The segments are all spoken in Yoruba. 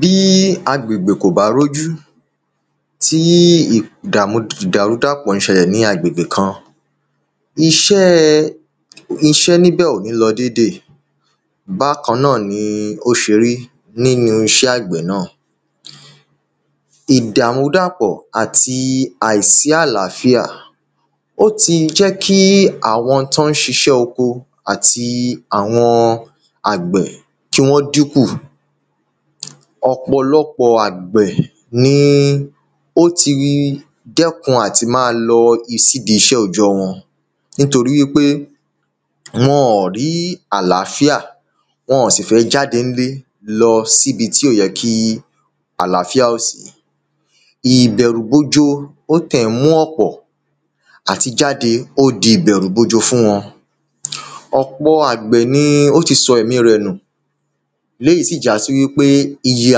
Bí agbègbè kò bá rí ojú tí ìdàrúdàpọ̀ ń ṣẹlẹ̀ ní agbègbè kan iṣẹ́ ní ibẹ̀ kò ní lọ déédé Bákan náà ni o ṣe rí nínu iṣẹ́ àgbẹ̀ náà Ìdàmúdàpọ̀ àti àìsí àlàáfíà ó ti jẹ́ kí àwọn tí wọ́n ń ṣiṣẹ́ oko àti àwọn àgbẹ̀ kí wọ́n dín kù Ọ̀pọ̀lọpọ̀ àgbẹ̀ ni ó ti dẹ́kun àti máa lọ sí ìdí iṣẹ́ òòjọ́ wọn nítorí wípé wọn ọ̀n rí àlàáfíà Wọn ọ̀n sì fẹ́ jádẹ ní ilé lọ sí ibi tí ó yẹ kí àlàáfíà ò sí Ìbẹ̀rùgbojo ó tẹ̀ ń mú ọ̀pọ̀ Àti jáde ó di ìbẹ̀rùgbojo fún wọn Ọ̀pọ̀ àgbẹ̀ ni ó ti sọ ẹ̀mí rẹ̀ nù Eléyì sì já sí wípé iye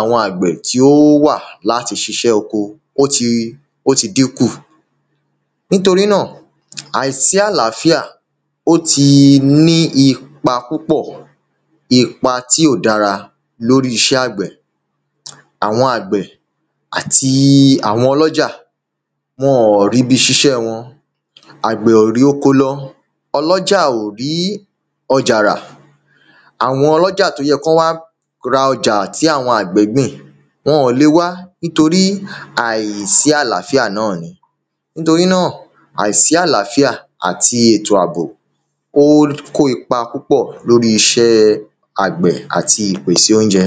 àwọn àgbẹ̀ tí ó wà láti ṣiṣẹ́ oko ó ti ó ti dín kù Nítorí náà àìsí àlàáfíà ó ti ní ipa púpọ̀ Ipa tí ò dára ní orí iṣẹ́ àgbẹ̀ Àwọn àgbẹ̀ àti àwọn ọlọ́jà wọn ọ̀n rí ibi ṣiṣẹ́ wọn Àgbẹ̀ ò rí oko lọ ọlọ́jà ò rí ọjà rà Àwọn ọlọ́jà tí ó yẹ kí wọ́n wá ra ọjà tí àwọn àgbẹ̀ gbìn wọn ò lè wá nítorí àìsí àlàáfíà náà ni Nítorí náà àìsí àlàáfíà àti ètò àbò ó kó ipa púpọ̀ lórí iṣẹ́ àgbẹ̀ àti ìpèsè ounjẹ